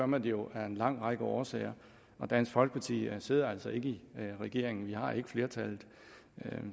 man det jo af en lang række årsager og dansk folkeparti sidder altså ikke i regering vi har ikke flertallet